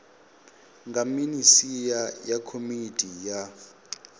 nga minisia na komiti ya